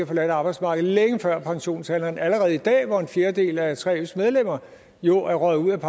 forladt arbejdsmarkedet længe før pensionsalderen allerede i dag hvor en fjerdedel af 3fs medlemmer jo er røget ud af